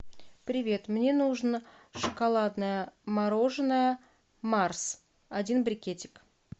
привет мне нужно шоколадное мороженое марс один брикетик